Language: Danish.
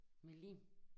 Med lim